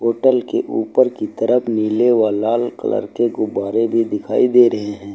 Hotel के ऊपर की तरफ नीले व लाल कलर के गुब्बारे भी दिखाई दे रहे हैं।